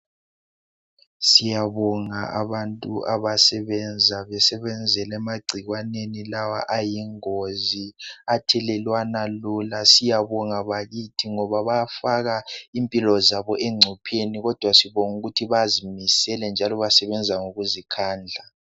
Siyabonga abantu abasebenza besebenzela emagcikwaneni lawa ayingozi, athelelwana lula. Siyabonga bakithi ngoba bayafaka impilo zabo encopheni kodwa sibonga ukuthi bazimisele njalo basebenza ngokuzikhandla.